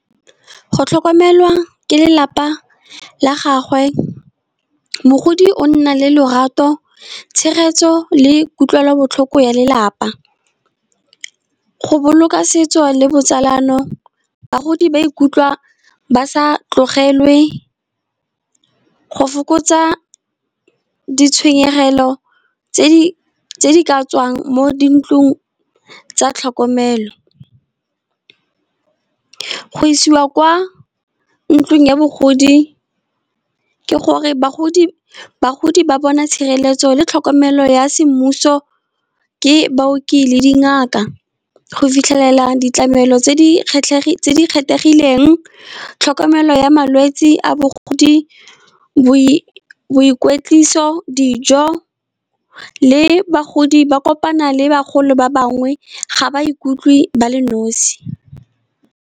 Go tlhokomelwa ke lelapa la gagwe, bogodi o nna le lorato tshegetso le kutlwelobotlhoko ya lelapa. Go boloka setso le botsalano, bagodi ba ikutlwa ba sa tlogelwe go fokotsa ditshenyegelo tse di tswang mo di ntlong tsa tlhokomelo. Go isiwa kwa ntlung ya bogodi, ke gore bagodi ba bona tshireletso le tlhokomelo ya semmuso ke baoki le dingaka, go fitlhelela ditlamelo tse di kgethegileng tlhokomelo ya malwetsi a bogodi, boikwetliso, dijo le bagodi ba kopana le bagolo ba bangwe, ga ba ikutlwe ba le nosi.